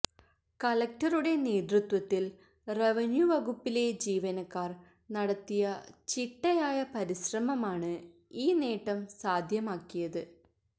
കളക്ടറുടെ നേതൃത്വത്തില് റവന്യൂ വകുപ്പിലെ ജീവനക്കാര് നടത്തിയ ചിട്ടയായ പരിശ്രമമാണ് ഈ നേട്ടം സാധ്യമാക്കിയത്